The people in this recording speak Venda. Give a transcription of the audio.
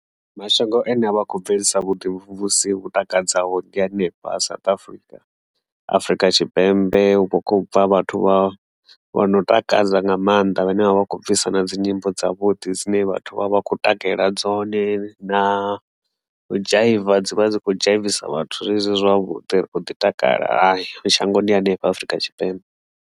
Mashango ane a vha khou bvelisa vhuḓi vhumvumvusi vhu takadzaho ḓi hanefha South Africa, Afurika Tshipembe ukho khobva vhathu vha vha no takadza nga maanḓa vhane vha vha khou bvisa na dzi nyimbo dza vhuḓi dzine vhathu vha vha khou takalela dzone, na dzhaiva dzi vha dzi khou dzhaivisa vhathu zwezwi zwavhuḓi ri kho ḓi takala shangoni hanefha Afrika Tshipembe.